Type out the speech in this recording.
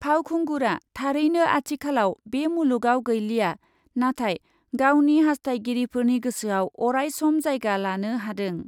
फावखुंगुरआ थारैनो आथिखालाव बे मुलुगआव गैलिया, नाथाय गावनि हास्थायगिरिफोरनि गोसोआव अरायसम जायगा लानो हादों।